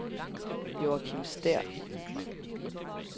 Joachim Stæhr